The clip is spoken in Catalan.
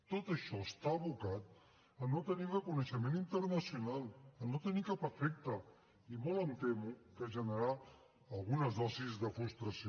tot això està abocat a no tenir reconeixement internacional a no tenir cap efecte i molt em temo que generarà algunes dosis de frustració